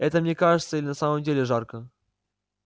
это мне кажется или на самом деле жарко